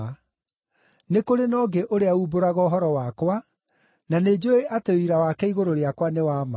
Nĩ kũrĩ na ũngĩ ũrĩa uumbũraga ũhoro wakwa, na nĩnjũũĩ atĩ ũira wake igũrũ rĩakwa nĩ wa ma.